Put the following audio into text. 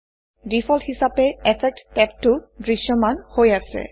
default হিচাপে effects টেবটো দৃশ্যমান হৈ আছে